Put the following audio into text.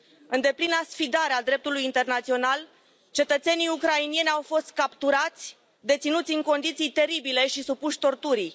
În deplina sfidare a dreptului internațional, cetățenii ucraineni au fost capturați, deținuți în condiții teribile și supuși torturii.